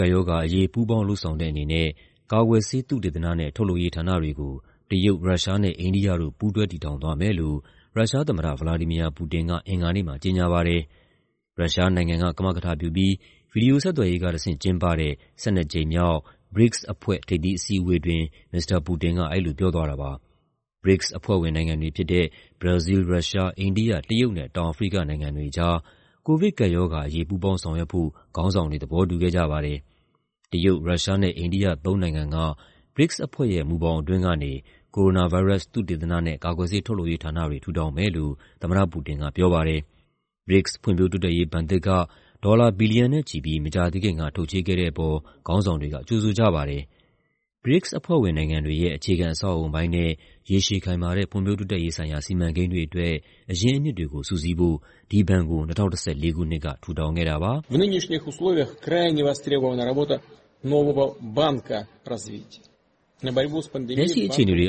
ကပ်ရောဂါအရေး ပူးပေါင်းလုပ်ဆောင်တဲ့အနေနဲ့ ကာကွယ်ဆေး သုတေသနနဲ့ ထုတ်လုပ်ရေးဌာနတွေကို တရုတ်၊ ရုရှားနဲ့ အိန္ဒိယတို့ ပူးတွဲတည်ထောင်သွားမယ်လို့ ရုရှားသမ္မတ ဗလာဒီမီယာ ပူတင်က အင်္ဂါနေ့မှာ ကြေညာပါတယ်။ ရုရှားနိုင်ငံက ကမကထပြုပြီး ဗွီဒီယိုဆက်သွယ်ရေးကတဆင့် ကျင်းပတဲ့ ၁၂ ကြိမ်မြောက် BRICS အဖွဲ့ ထိပ်သီးအစည်းအဝေးအတွင်း မစ္စတာပူတင်က အဲဒီလိုပြောသွားတာပါ။ BRICS အဖွဲ့ဝင်နိုင်ငံတွေဖြစ်တဲ့ ဘရာဇီးလ်၊ ရုရှား၊ အိန္ဒိယ၊ တရုတ်နဲ့ တောင်အာဖရိကနိုင်ငံတွေကြား ကိုဗစ်ကပ်ရောဂါအရေး ပူးပေါင်းဆောင်ရွက်ဖို့ ခေါင်းဆောင်တွေ သဘောတူခဲ့ကြပါတယ်။ တရုတ်၊ ရုရှားနဲ့ အိန္ဒိယ သုံးနိုင်ငံက BRICS အဖွဲ့ မူဘောင်အတွင်းကနေ ကိုရိုနာဗိုင်းရပ်စ် သုတေသနဲ့ ကာကွယ်ဆေးထုတ်လုပ်ရေးဌာနတွေ ထူထောင်မယ်လို့ သမ္မတပူတင်ကပြောပါတယ်။ BRICS ဖွံ့ဖြိုးတိုးတက်ရေးဘဏ်သစ်က ဒေါ်လာ ဘီလီယံနဲ့ချီပြီး မကြာသေးခင်က ထုတ်ချေးခဲ့တဲ့အပေါ် ခေါင်းဆောင်တွေက ကြိုဆိုကြပါတယ်။ BRICS အဖွဲ့ဝင်နိုင်ငံတွေရဲ့ အခြေခံအဆောက်အအုံပိုင်းနဲ့ ရေရှည်ခိုင်မာတဲ့ ဖွံ့ဖြိုးတိုးတက်ရေးဆိုင်ရာ စီမံကိန်းတွေအတွက် အရင်းအမြစ်တွေကို စုစည်းဖို့ ဒီဘဏ်ကို ၂၀၁၄ ခုနှစ်က ထူထောင်ခဲ့တာပါ။ "လက်ရှိအခြေအနေတွေအေ